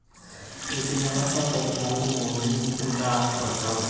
enkinyala sapuk oonkukuuni endaa tolchamba